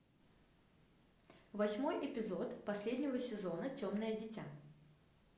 восьмой эпизод последнего сезона темное дитя